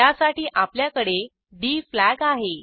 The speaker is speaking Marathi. त्यासाठी आपल्याकडे डी फ्लॅग आहे